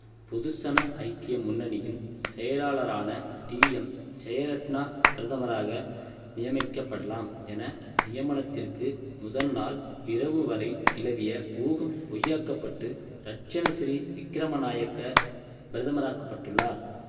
பொதுசன ஐக்கிய முன்னணியின் செயலாளரான டீஎம் ஜெயரத்ணா பிரதமராக நியமிக்கப்படலாம் என நியமனத்திற்கு முதல்நாள் இரவுவரை நிலவிய ஊகம் பொய்யாக்கப்பட்டு ரட்சணசிறி விக்கிரமநாயக்க பிரதமர் ஆக்கப்பட்டுள்ளார்